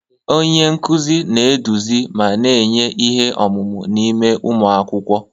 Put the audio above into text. Onye nkuzi na-eduzi ma na-enye ihe ọmụma n'ime ụmụ akwụkwọ.